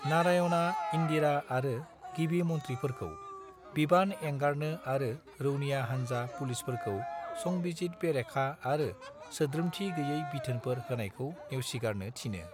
नारायणआ इन्दिरा आरो गिबि मन्थ्रिफोरखौ बिबान एंगारनो आरो रौनिया हान्जा आरो पुलिसफोरखौ संबिजिद-बेरेखा आरो सोद्रोमथि गोयै बिथोनफोर होनायखौ नेवसिगारनो थिनो।